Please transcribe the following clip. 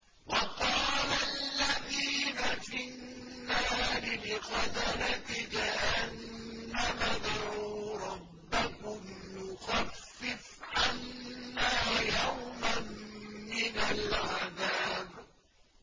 وَقَالَ الَّذِينَ فِي النَّارِ لِخَزَنَةِ جَهَنَّمَ ادْعُوا رَبَّكُمْ يُخَفِّفْ عَنَّا يَوْمًا مِّنَ الْعَذَابِ